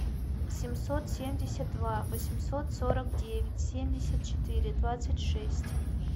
семьсот семьдесят два восемьсот сорок девять семьдесят четыре двадцать шесть